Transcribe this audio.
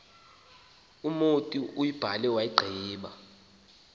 umotu uyibhale wayigqiba